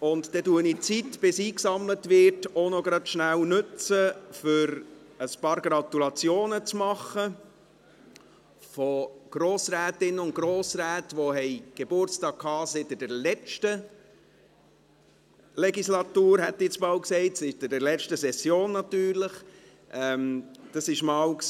Dann nütze ich die Zeit, bis eingesammelt ist, noch schnell dazu, einige Gratulationen an Grossrätinnen und Grossräte zu machen, die seit der letzten – Legislatur, hätte ich jetzt fast gesagt – Session, natürlich, Geburtstag hatten.